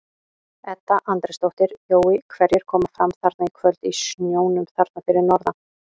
Edda Andrésdóttir: Jói hverjir koma fram þarna í kvöld í snjónum þarna fyrir norðan?